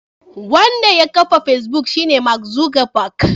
Wanda ya kafa Facebook shine Mark Zuckerberg.